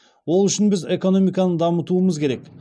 ол үшін біз экономиканы дамытуымыз керек